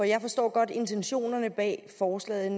jeg forstår godt intentionerne bag forslaget